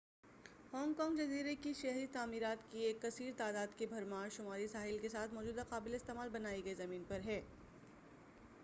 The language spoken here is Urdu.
ہانگ کانگ جزیرے کی شہری تعمیرات کی ایک کثیر تعداد کی بھرمار شمالی ساحل کے ساتھ موجود قابلِ استعمال بنائی گئی زمین پر ہے